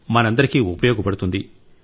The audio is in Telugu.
మనందరికీ ఉపయోగపడుతుంది